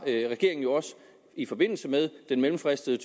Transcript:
er regeringen jo også i forbindelse med den mellemfristede